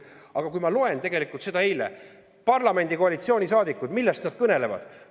Aga ma lugesin eile, millest parlamendi koalitsioonisaadikud kõnelesid.